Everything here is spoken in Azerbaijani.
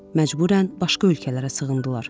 Məcburən başqa ölkələrə sığındılar.